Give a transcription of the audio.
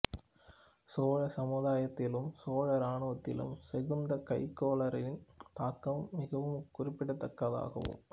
சோழ சமுதாயத்திலும் சோழ இராணுவத்திலும் செங்குந்த கைக்கோளரின் தாக்கம் மிகவும் குறிப்பிடத்தகுந்ததாகும்